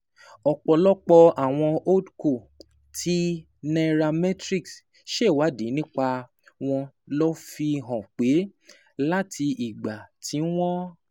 Ọ̀pọ̀lọpọ̀ àwọn Holdco tí Nairametrics ṣèwádìí nípa wọn ló fi hàn pé láti ìgbà tí wọ́n